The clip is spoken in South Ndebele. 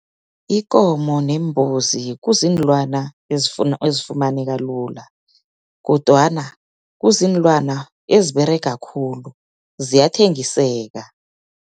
Ikomo neembuzi kuziinlwana ezifumaneka lula. Kodwana, kuziinlwana eziberega khulu, ziyathengiseka.